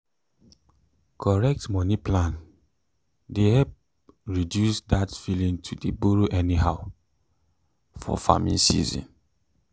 correct moni plan dey help reduce that feeling to dey borrow anyhow for farming season.